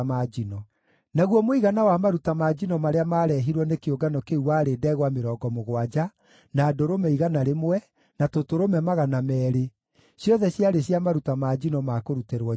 Naguo mũigana wa maruta ma njino marĩa maarehirwo nĩ kĩũngano kĩu warĩ ndegwa mĩrongo mũgwanja, na ndũrũme 100 na tũtũrũme 200, ciothe ciarĩ cia maruta ma njino ma kũrutĩrwo Jehova.